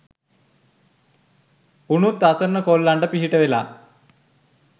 උනුත් අසරණ කොල්ලොන්ට පිහිටවල